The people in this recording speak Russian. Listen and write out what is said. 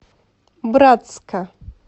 братска